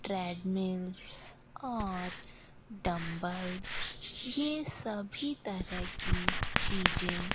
treadmills और dumbbells ये सभी तरह की चीजें --